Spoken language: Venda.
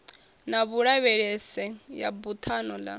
na vhulavhelese ya buthano ḽa